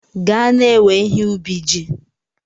Gaa na-ewe ihe ubi ji!